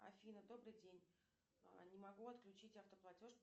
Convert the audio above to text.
афина добрый день не могу отключить автоплатеж